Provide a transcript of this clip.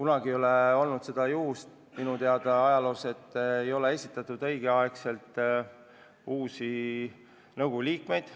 Ajaloos ei ole minu teada kunagi olnud seda, et ei ole õigel ajal esitatud uusi nõukogu liikmeid.